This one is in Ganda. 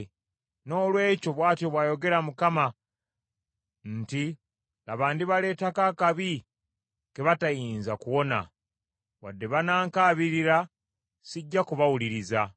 Noolwekyo, bw’atyo bw’ayogera Mukama nti, ‘Laba, ndibaleetako akabi ke batayinza kuwona; wadde banaankaabirira, sijja kubawuliriza.